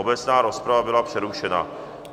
Obecná rozprava byla přerušena.